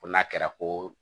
Ko n'a kɛra koo